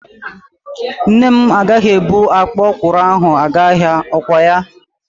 Nne m agaghị ebu akpa ọkwụrụ a gaa ahịa, kwa ya?